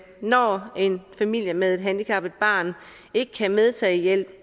når en familie med et handicappet barn ikke kan medtage hjælp